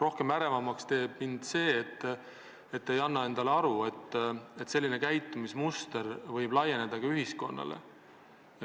Aga ärevaks teeb mind see, et te ei anna endale aru, et selline käitumismuster võib laieneda ka ühiskonnale.